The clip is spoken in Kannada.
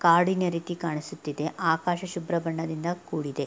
ಕಾಡಿನ ರೀತಿ ಕಾಣಿಸುತ್ತಿದೆ ಆಕಾಶ ಶುಭ್ರ ಬಣ್ಣದಿಂದ ಕೂಡಿದೆ.